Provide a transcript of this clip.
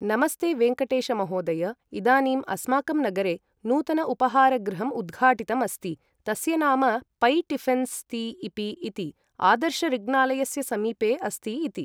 नमस्ते वेङ्कटेशमहोदय इदानीम् अस्माकं नगरे नूतन उपहारगृहम् उद्घाटितम् अस्ति तस्य नाम पै टिफिन्स् ति इपि इति आदर्श ऋग्णालयस्य समीपे अस्ति इति ।